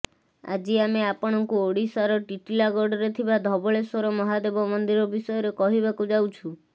ଆଜି ଆମେ ଆପଣଙ୍କୁ ଓଡିଶାର ଟିଟଲାଗଡରେ ଥିବା ଧବଳେଶ୍ବର ମହାଦେବ ମନ୍ଦିର ବିଷୟରେ କହିବାକୁ ଯାଉଛୁ